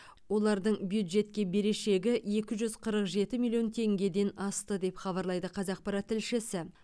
олардың бюджетке берешегі екі жүз қырық жеті миллион теңгеден асты деп хабарлайды қазақпарат тілшісі